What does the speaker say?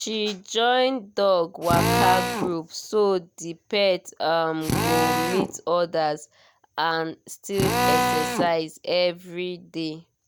she join dog waka group so the pet um go meet others and still exercise every day